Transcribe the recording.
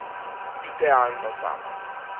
Idealno zame.